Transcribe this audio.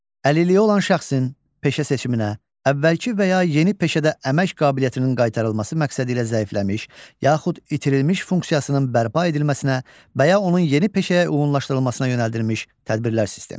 Əlilliyi olan şəxsin peşə seçiminə, əvvəlki və ya yeni peşədə əmək qabiliyyətinin qaytarılması məqsədilə zəifləmiş, yaxud itirilmiş funksiyasının bərpa edilməsinə və ya onun yeni peşəyə uyğunlaşdırılmasına yönəldilmiş tədbirlər sistemi.